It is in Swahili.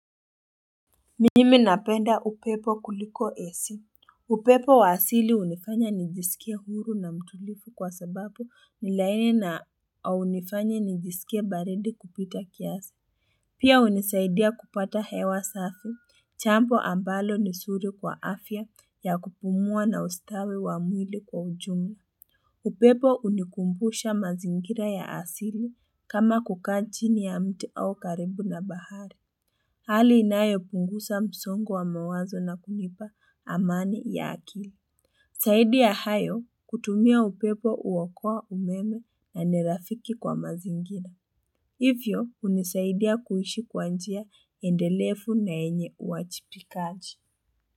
Mimi napenda upepo kuliko esi upepo wa asili hunifanya nijisikie huru na mtulivu kwa sababu ni laini na hunifanya nijisikie baridi kupita kiasi pia hunisaidia kupata hewa safi jambo ambalo ni zuri kwa afya ya kupumua na ustawi wa mwili kwa ujumla. Upepo hunikumbusha mazingira ya asili kama kukaa chini ya mti au karibu na bahari Hali inayo punguza msongo wa mawazo na kunipa amani ya akili. Zaidi ya hayo, kutumia upepo huokoa umeme na ni rafiki kwa mazingira. Hivyo hunisaidia kuishi kwa njia endelevu na yenye uwajibikaji.